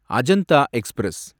Ajanta express